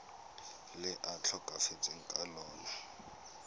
le a tlhokafetseng ka lona